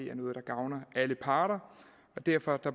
er noget der gavner alle parter og derfor